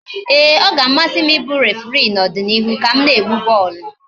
Ee, ọ ga-amasị m ị bụ referii n'ọdịnịihu ka m na-egbu bọọlụ